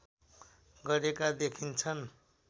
गरेका देखिन्छन्